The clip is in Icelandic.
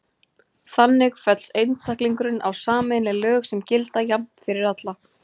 Þannig fellst einstaklingurinn á sameiginleg lög sem gilda jafnt fyrir alla.